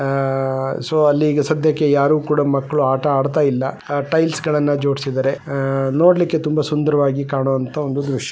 ಆ ಸೊ ಅಲ್ಲಿ ಈಗ ಸದ್ಯಕ್ಕೆ ಯಾರೂ ಕೂಡ ಮಕ್ಕಳು ಆಟ ಆಡ್ತಾ ಇಲ್ಲ ಟೈಲ್ಸ್ ಗಳನ್ನ ಜೋಡಿಸಿದ್ದಾರೆ ಆ ನೋಡ್ಲಿಕೆ ಒಂದು ತುಂಬ ಸುಂದರವಾಗಿ ಕಾಣುವಂತ ಒಂದು ದೃಶ್ಯ.